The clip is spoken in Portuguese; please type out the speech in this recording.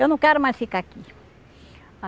Eu não quero mais ficar aqui.